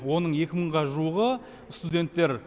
оның екі мыңға жуығы студенттер